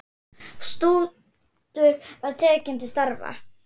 Stútur var tekið til starfa!